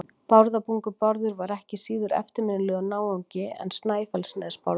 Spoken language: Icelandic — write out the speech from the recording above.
Bárðarbungu-Bárður var ekki síður eftirminnilegur náungi en Snæfellsnes-Bárður.